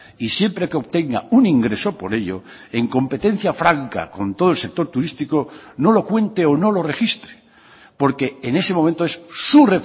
y siempre que obtenga un ingreso por ello en competencia franca con todo el sector turístico no lo cuente o no lo registre porque en ese momento es su